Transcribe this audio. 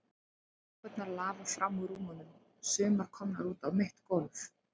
Sængurnar lafa fram úr rúmunum, sumar komnar út á mitt gólf.